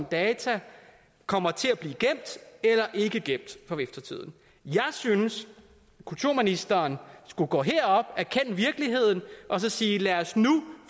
data kommer til at blive gemt eller ikke gemt for eftertiden jeg synes kulturministeren skulle gå herop erkende virkeligheden og sige lad os nu